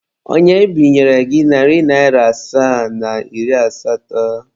Onye binyere gị narị naịra asaa na iri asatọ?